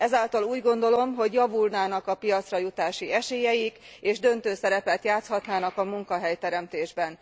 Ezáltal úgy gondolom, hogy javulnának a piacra jutási esélyeik, és döntő szerepet játszhatnának a munkahelyteremtésben.